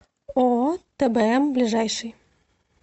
ооо тбм ближайший